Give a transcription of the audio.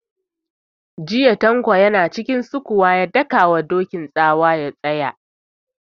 Jiya Tanko ya na cikin sukuwa ya daka wa Dokin tsawa ya tsaya!